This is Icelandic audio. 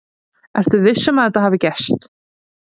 Ertu viss um að þetta hafi gerst?